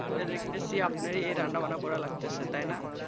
ঠিক করে দেখতেছি আপনারই রান্নাবান্না করার লাগতাসে তাই না?